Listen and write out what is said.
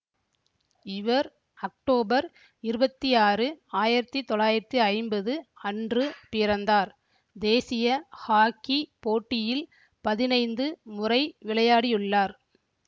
இவர் அக்டோபர் இருபத்தி ஆறு ஆயிரத்தி தொள்ளாயிரத்தி ஐம்பது அன்று பிறந்தார் தேசிய ஹாக்கிப் போட்டியில் பதினைந்து முறை விளையாடியுள்ளார்